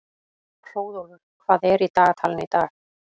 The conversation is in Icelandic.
Hróðólfur, hvað er í dagatalinu í dag?